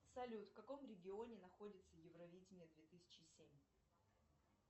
салют в каком регионе находится евровидение две тысячи семь